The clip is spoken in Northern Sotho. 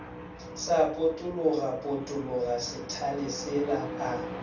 sa potologapotologa sethale sela a